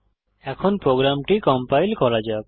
এখন প্রোগ্রামটি কম্পাইল করা যাক